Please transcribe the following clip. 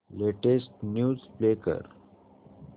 latest news play कर